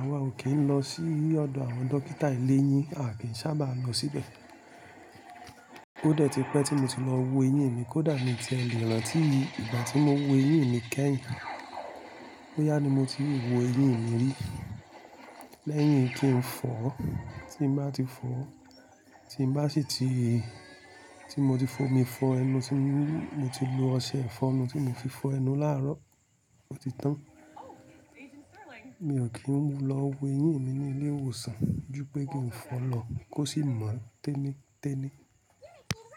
àwa ò kí n lọ sí ile ọ̀dọ̀ àwọn dókítà eleyín, a kì í sábà lọ síbẹ̀. Ó dẹ̀ ti pẹ́ tí mo ti lọ wo eyín mi, kódà mi tie lè rántí ìgbà tí mo wo eyín mi kẹ́yìn. Ó yá ni mo ti wo eyín mi rí. Lẹ́yìn kí n fọ̀, tí n bá ti fọ̀, tí n bá sì ti-- tí mo ti fọ mi fọ ẹnu tí mo ti lu ọṣẹ ifọ́nu tí mo fi fọ ẹnu láàárọ̀ ọtí tan. Mi ò ki n lọ wo eyín mi ní ilé ìwòsàn, ju pẹ́ kí n fọ̀ lọ kó sì mọ̀ tẹ́nìtẹ́nì.